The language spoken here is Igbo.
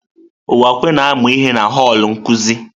Uwakwe na-amụ ihe na họl nkuzi.